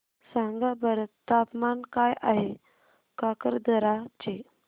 सांगा बरं तापमान काय आहे काकरदरा चे